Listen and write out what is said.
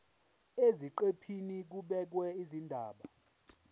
eziqephini kubhekwe izindaba